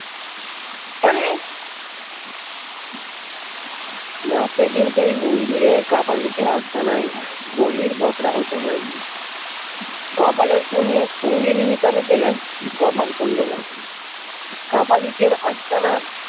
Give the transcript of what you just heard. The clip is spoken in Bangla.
না সেইদিন সেই মন্দিরে কাপালিকের আস্তানায় বলির বকরা হতে হয়নি কপালের পুণ্যে সঙ্গিনী হিসেবে পেলেন কপালকুণ্ডলা কে কাপালিকের আস্তানার ।